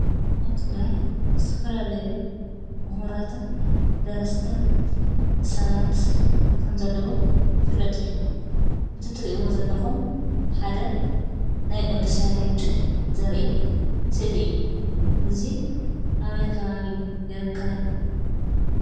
ኣብ ትግራይ ዝተፈላለዩ ምሁራትን ደረስትን ሰባት ከምዘለዉ ይፍለጥ እዩ፡፡ እቲ ትሪእዎ ዘለኹም ሓደ ናይ ቅዱስ ያሬድ ዘርኢ ስእሊ እዩ፡፡ እዚ ኣበይ ከባቢ ይርከብ?